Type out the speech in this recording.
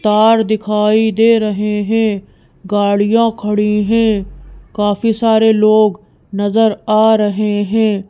तार दिखाई दे रहे हैं गाड़ियां खड़ी हैं काफी सारे लोग नजर आ रहे हैं।